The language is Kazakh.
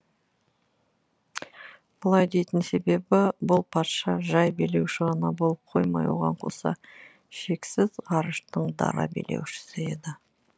бұлай дейтін себебі бұл патша жай билеуші ғана болып қоймай оған қоса шексіз ғарыштың дара билеушісі еді